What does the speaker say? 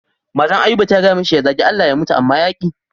Matan Ayuba ta gaya mishi ya zage Allah ya mutu amma ya ƙi.